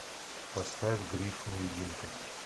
поставь гриф невидимка